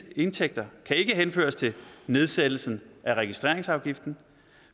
indtægter kan ikke henføres til nedsættelsen af registreringsafgiften